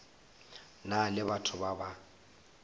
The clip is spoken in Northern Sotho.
na le batho ba ba